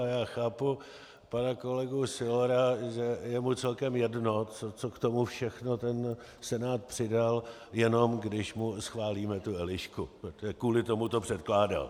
A já chápu pana kolegu Sylora, že je mu celkem jedno, co k tomu všechno ten Senát přidal, jenom když mu schválíme tu Elišku, protože kvůli tomu to předkládal.